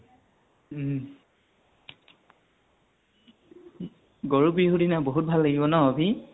উম । গৰু বিহু দিনা বহুত ভাল লাগিব ন অভি?